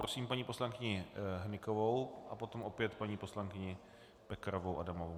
Prosím paní poslankyni Hnykovou a potom opět paní poslankyni Pekarovou Adamovou.